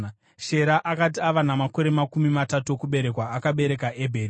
Shera akati ava namakore makumi matatu okuberekwa, akabereka Ebheri.